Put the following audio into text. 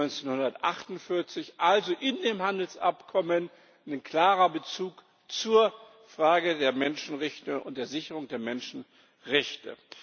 1948. Also In dem Handelsabkommen ist ein klarer Bezug zur Frage der Menschenrechte und der Sicherung der Menschenrechte.